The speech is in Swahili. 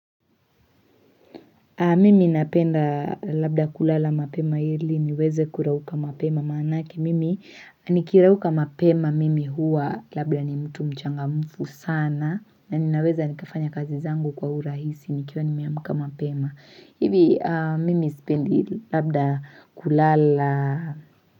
Mimi napenda labda kulala mapema ili niweze kurauka mapema manake Mimi nikirauka mapema mimi hua labda ni mtu mchangamfu sana na ninaweza nikafanya kazi zangu kwa urahisi nikiwa nimeamka mapema. Hivi mimi sipendi labda kulala.